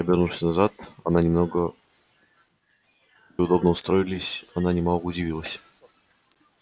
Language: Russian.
обернувшись назад она немного удобно устроились она немного удивилась